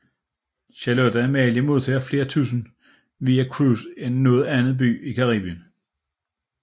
Charlotte Amalie modtager flere turister via cruise end nogen anden by i Karibien